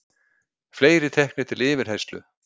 Fleiri teknir til yfirheyrslu